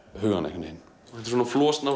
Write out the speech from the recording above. hugann einhvern veginn þetta er svona